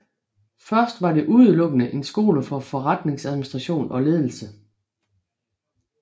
Først var det udelukkende en skole for forretningsadministration og ledelse